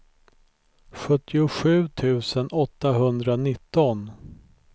sjuttiosju tusen åttahundranitton